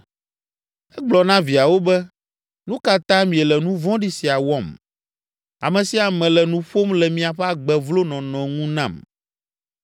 Egblɔ na viawo be, “Nu ka ta miele nu vɔ̃ɖi sia wɔm? Ame sia ame le nu ƒom le miaƒe agbe vlo nɔnɔ ŋu nam.